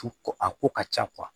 Tu ko a ko ka ca